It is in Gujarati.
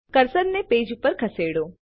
કર્સરને પેજ ઉપર ખસેડો